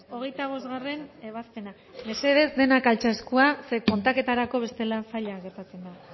hogeita bostgarrena ebazpena mesedez denak altxa eskua zeren kontaketarako bestela zaila gertatzen da